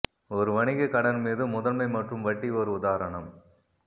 ஒரு வணிக கடன் மீது முதன்மை மற்றும் வட்டி ஒரு உதாரணம்